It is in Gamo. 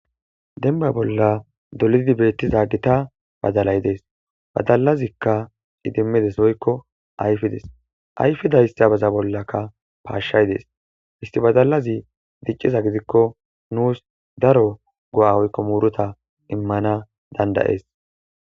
Denba bolla dolidi beettiza gita badalay dees badalazikka idimmides oykko ayfides ayfidayssa baza bollakka paashshay dees histibadalazi dicciza gidikko nuus daro go'a oykko muuruta immana dandayees